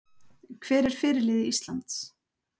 Hver er fyrirliði Íslands?